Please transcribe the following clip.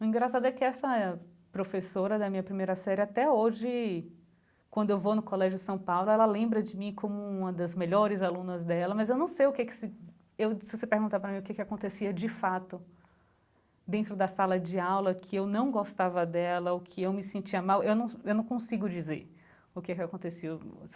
O engraçado é que essa professora da minha primeira série, até hoje, quando eu vou no Colégio São Paulo, ela lembra de mim como uma das melhores alunas dela, mas eu não sei o que que se... Eu se você perguntar para mim o que que acontecia, de fato, dentro da sala de aula, que eu não gostava dela, o que eu me sentia mal, eu não eu não consigo dizer o que que aconteceu.